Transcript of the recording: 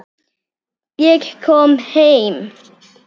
Ég kom heim!